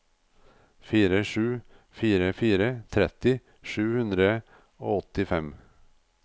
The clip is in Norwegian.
fire sju fire fire tretti sju hundre og åttifem